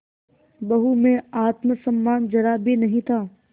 बहू में आत्म सम्मान जरा भी नहीं था